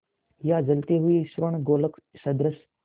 या जलते हुए स्वर्णगोलक सदृश